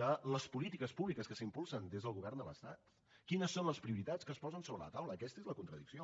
de les polítiques públiques que s’impulsen des del govern de l’estat quines són les prioritats que es posen sobre la taula aquesta és la contradicció